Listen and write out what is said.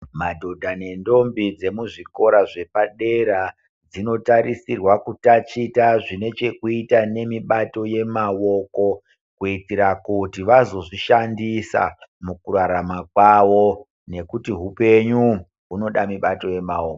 Madhodha nentombi dzemuzvikora zvepadera zvinotarisirwa kutaticha zvinechekuita nemishando yemaoko kuitira kuti vazozvishandisa mukurarama kwavo nekuti hupenyu hunoda Minato yemaoko.